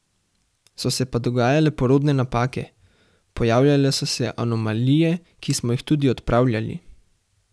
So se pa dogajale porodne napake: "Pojavljale so se anomalije, ki smo jih tudi odpravljali.